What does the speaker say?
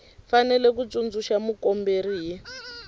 fanele ku tsundzuxa mukomberi hi